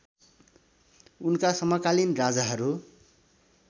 उनका समकालीन राजाहरू